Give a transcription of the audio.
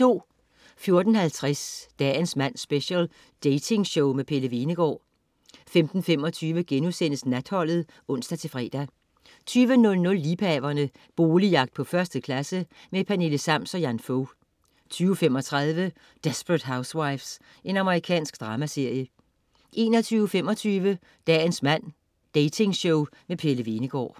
14.50 Dagens mand special. Datingshow. Pelle Hvenegaard 15.25 Natholdet* (ons-fre) 20.00 Liebhaverne. Boligjagt på 1. klasse. Pernille Sams og Jan Fog 20.35 Desperate Housewives. Amerikansk dramaserie 21.25 Dagens mand. Datingshow. Pelle Hvenegaard